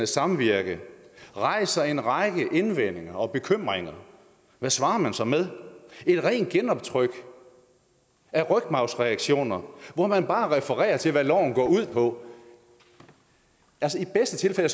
samvirke rejser en række indvendinger og bekymringer hvad svarer man så med et rent genoptryk af rygmarvsreaktioner hvor man bare refererer til hvad loven går ud på altså i bedste